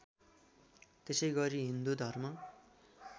त्यसैगरी हिन्दू धर्म